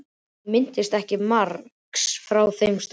Hún minnist ekki margs frá þeim stað.